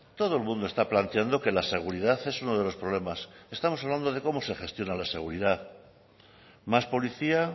todo el mundo está planteando que la seguridad es uno de los problemas estamos hablando de cómo se gestiona la seguridad más policía